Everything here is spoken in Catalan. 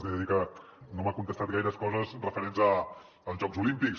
li he de dir que no m’ha contestat gaires coses referents als jocs olímpics